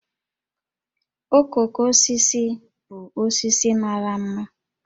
Okooko osisi bụ osisi mara ḿmà